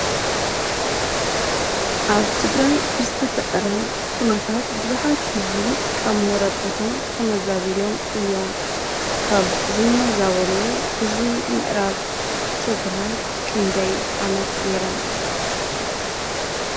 ኣብ ትግራይ ብዝተፈጠረ ኩነታት ብዙሓት ህዝቢ ካብ መረበቶም ተመዛቢሎም እዮም። ካብ ዝመዛበሉ ህዝቢ ምዕራብ ትግራይ ክንደይ ዓመት ጌሪም ?